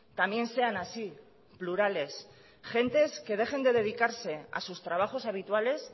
también sean así plurales gentes que dejen de dedicarse a sus trabajos habituales